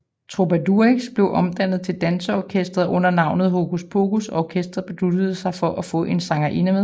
Trubadurix blev omdannet til en danseorkester under navnet Hokus Pokus og orkesteret besluttede sig for at få en sangerinde med